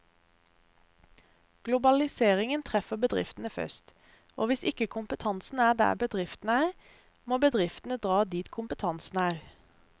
Globaliseringen treffer bedriftene først, og hvis ikke kompetansen er der bedriftene er, må bedriftene dra dit kompetansen er.